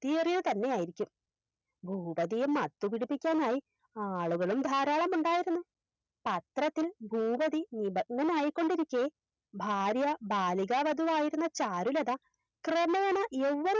ക്തിയേറിയത് തന്നെയായിരിക്കും ഭൂപതിയെ മത്തുപിടിപ്പിക്കാനായി ആളുകളും ധാരാളമുണ്ടായിരുന്നു പത്രത്തിൽ ഭൂപതി നിപന്യനായിക്കൊണ്ടിരിക്കെ ഭാര്യ ബാലികാവധുവായിരുന്ന ചാരുലത ക്രമേണ യൗവ്വനം